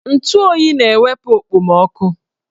Ntụ oyi na-ewepu okpomoọkụ